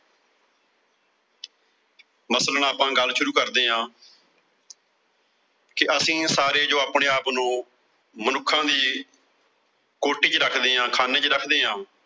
ਮਤਲਬ ਆਪਾਂ ਗੱਲ ਸ਼ੁਰੂ ਕਰਦੇ ਆਂ ਕਿ ਅਸੀਂ ਸਾਰੇ ਜੋ ਆਪਣੇ ਆਪ ਨੂੰ ਮਨੁੱਖਾਂ ਦੀ ਕੋਟੀ ਚ ਰੱਖਦੇ ਆਂ, ਖਾਨੇ ਚ ਰੱਖਦੇ ਆਂ।